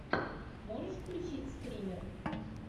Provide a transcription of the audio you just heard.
можешь включить стример